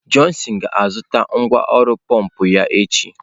Johnson ga-azụta ngwá ọrụ pọmpụ ya echi.